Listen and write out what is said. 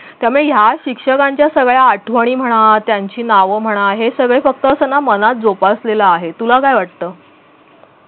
त्यामुळे ह्या शिक्षकांच्या सगळ्या आठवणी म्हणा त्यांची नाव म्हणा हे सगळे फक्त असं ना मनात जोपासलेल आहे तुला काय वाटत